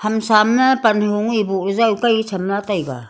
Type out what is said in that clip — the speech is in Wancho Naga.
ham sam ma pan hajung ye buh la joi kai chamla taiga.